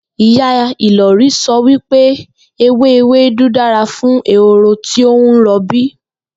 Ìyá Ìlò̩rí so̩ wí pé ewé ewédú dára fún ehoro tí ó ń ro̩bí